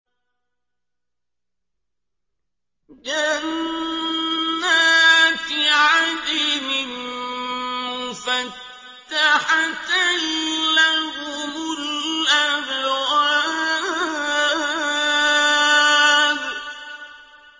جَنَّاتِ عَدْنٍ مُّفَتَّحَةً لَّهُمُ الْأَبْوَابُ